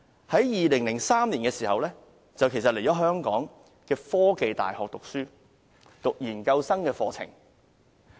在2003年，他在香港科技大學修讀研究生課程。